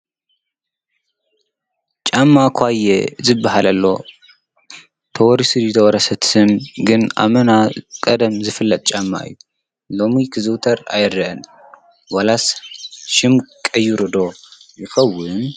ጫማ ኳየ ዝበሃል ኣሎ ተወሪሱ ድዩ ኣይተወረሰን እቲ ስም ግን ኣመና ቀደም ዝፍለጥ ጫማ እዪ። ሎሚ ክዝዉተር አይረአን ዋላስ ሽም ቀይሩ ዶ ይኸዉን?